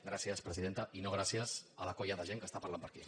gràcies presidenta i no gràcies a la colla de gent que parla per aquí